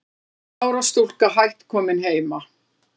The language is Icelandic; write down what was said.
Þriggja ára stúlka hætt komin heima